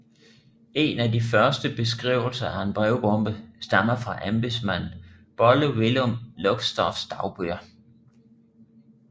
En af de første beskrivelser af en brevbombe stammer fra embedsmanden Bolle Willum Luxdorphs dagbøger